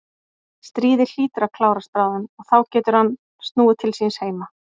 Stríðið hlýtur að klárast bráðum og þá getur hann snúið til síns heima.